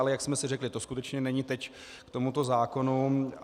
Ale jak jsme si řekli, to skutečně není teď k tomuto zákonu.